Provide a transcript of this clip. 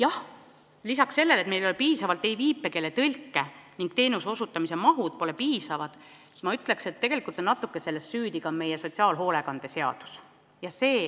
Aga lisaks sellele, et meil ei ole piisavalt viipekeeletõlke ning teenuse osutamise mahud pole piisavad, ma ütleks, et natuke on selles süüdi ka meie sotsiaalhoolekande seadus.